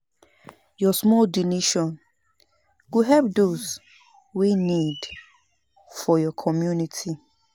Yur small donation go help dose wey nid for yur community.